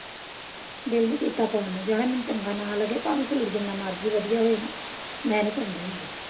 ਦਿਲ ਨਹੀਂ ਕੀਤਾ ਪਾਉਣ ਨੂੰ ਜਿਹੜਾ ਮੈਨੂੰ ਚੰਗਾ ਨਾ ਲੱਗੇ ਭਾਵੇਂ ਸੂਟ ਜਿੰਨਾ ਮਰਜੀ ਵਧੀਆ ਹੋਏ ਨਾ ਮੈਂ ਨਹੀਂ ਪਾਉਂਦੀ ਹੁੰਦੀ।